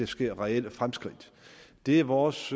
sker reelle fremskridt det er vores